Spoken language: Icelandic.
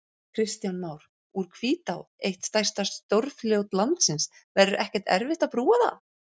Kristján Már: Úr Hvítá, eitt stærsta stórfljót landsins, verður ekkert erfitt að brúa það?